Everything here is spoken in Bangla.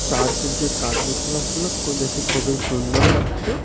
চার্চের যে কার্যকলাপগুলো ক-দেখে খুবই সুন্দর লাগছে .